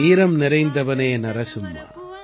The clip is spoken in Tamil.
வீரம் நிறைந்தவனே நரசிம்மா